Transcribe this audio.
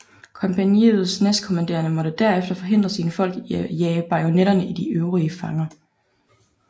Kompagniets næstkommanderende måtte derefter forhindre sine folk i at jage bajonetterne i de øvrige fanger